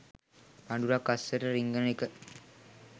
පඳුරක් අස්සට රිංගන එක